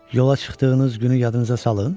Yola çıxdığınız günü yadınıza salın?